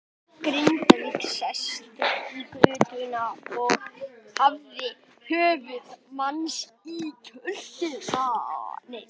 Grindvíkingur sestur í götuna og hafði höfuð manns í kjöltunni.